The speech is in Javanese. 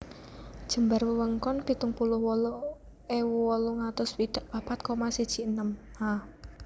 Jembar wewengkon pitung puluh wolu ewu wolung atus swidak papat koma siji enem Ha